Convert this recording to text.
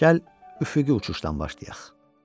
Gəl üfüqi uçuşdan başlayaq.